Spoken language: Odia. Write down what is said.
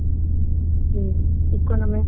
ହୁଁ economic ଟା